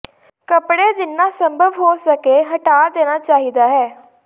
ਕੱਪੜੇ ਜਿੰਨਾ ਸੰਭਵ ਹੋ ਸਕੇ ਹਟਾ ਦੇਣਾ ਚਾਹੀਦਾ ਹੈ